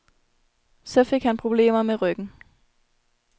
Så fik han problemer med ryggen.